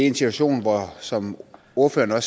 en situation hvor der som ordføreren